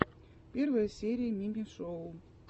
первая серия мими шоу